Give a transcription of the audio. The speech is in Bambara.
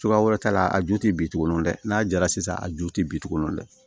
Cogoya wɛrɛ t'a la a ju tɛ bin tuguni dɛ n'a jara sisan a ju tɛ bin tuguni nɔ dɛ